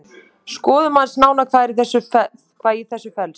Skoðum aðeins nánar hvað í þessu felst.